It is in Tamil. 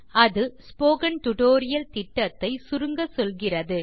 அது ஸ்போக்கன் டியூட்டோரியல் திட்டத்தை சுருங்கச்சொல்கிறது